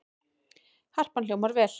Harpan hljómar vel